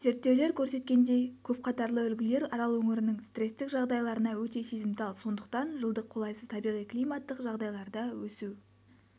зерттеулер көрсеткендей көпқатарлы үлгілер арал өңірінің стресстік жағдайларына өте сезімтал сондықтан жылдық қолайсыз табиғи-климаттық жағдайларда өсу